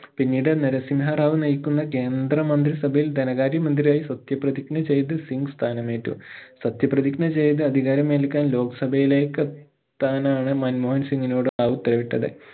പിന്നീട് നരസിംഹ റാവു നയിക്കുന്ന കേന്ദ്ര മന്ത്രിസഭയിൽ ധനകാര്യ മന്ത്രിയായി സത്യ പ്രതിജ്ഞ ചെയ്തു സിംഗ് സ്ഥാനമേറ്റു സത്യ പ്രതിജ്ഞ ചെയ്തു അധികാരമേൽക്കാൻ ലോകസഭയിലേക്കെത്താൻ ആണ് മൻമോഹൻ സിംഗിനോട് റാവു ഉത്തരവിട്ടത്